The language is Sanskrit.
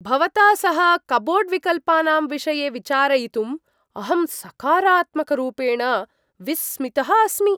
भवता सह कप्बोर्ड् विकल्पानां विषये विचारयितुं अहं सकारात्मकरूपेण विस्मितः अस्मि।